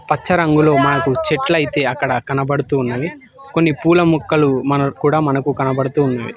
పచ్చరంగులో మాకు చెట్లైతే అక్కడ కనబడుతూ ఉన్నవి కొన్ని పూల మొక్కలు మనకూడ మనకు కనపడుతూ ఉన్నవి.